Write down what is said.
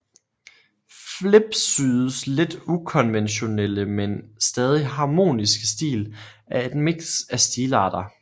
Flipsydes lidt ukonventionelle men stadig harmoniske stil er et mix af stilarter